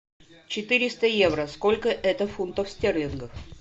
четыреста евро сколько это фунтов стерлингов